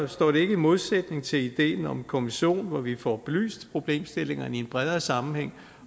i modsætning til ideen om en kommission hvor vi får belyst problemstillingerne i en bredere sammenhæng